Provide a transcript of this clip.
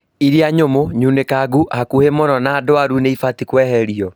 Iria nyũmũ, nyunĩkangu, hakuhĩ mũno na ndwaru nĩibatie kweherio